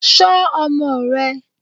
Ṣọ́ ọmọ rẹ